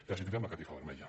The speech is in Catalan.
i els tirem la catifa vermella